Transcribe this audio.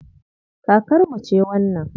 Kakarmu ce wannan.